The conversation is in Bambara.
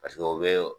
Paseke o bɛ